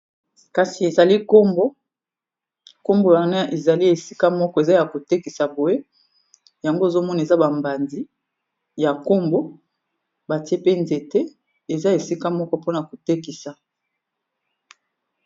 kasi ezali bakombo , bati Yango esika moko po na kotekisa yango.